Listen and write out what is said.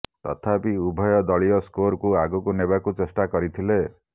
ତଥାପି ଉଭୟ ଦଳୀୟ ସ୍କୋରକୁ ଆଗକୁ ନେବାକୁ ଚେଷ୍ଟା କରିଥିଲେ